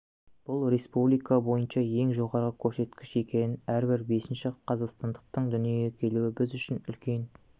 бұл республика бойынша ең жоғары көрсеткіш екен әрбір бесінші қазақстандықтың дүниеге келуі біз үшін үлкен